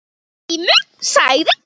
Grímur sagði